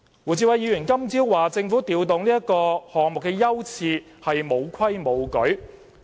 胡志偉議員今早指政府調動議程項目的優次是沒有規矩。